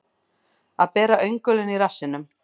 Að bera öngulinn í rassinum